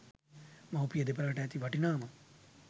මව්පිය දෙපළට ඇති වටිනාම